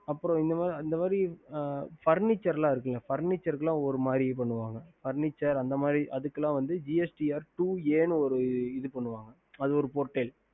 அப்புறம் இந்தமாரி Furniture இதுக்கு இல்ல ஓரூ மாறி பண்ணுவோம் Furniture gst two A இது பண்ணுவாங்க அது ஒரு portel